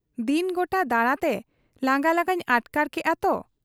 ᱫᱤᱱ ᱜᱚᱴᱟ ᱫᱟᱬᱟᱛᱮ ᱞᱟᱝᱜᱟ ᱞᱟᱸᱜᱟᱧ ᱟᱴᱠᱟᱨ ᱠᱮᱜ ᱟ ᱛᱚ ᱾'